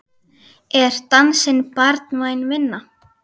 Er dansinn barnvæn vinna?